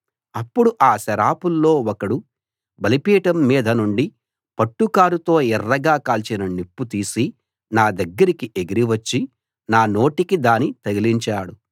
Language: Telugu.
అప్పుడు ఆ సెరాపుల్లో ఒకడు బలిపీఠం మీద నుండి పట్టుకారుతో ఎర్రగా కాలిన నిప్పు తీసి నా దగ్గరికి ఎగిరి వచ్చి నా నోటికి దాని తగిలించాడు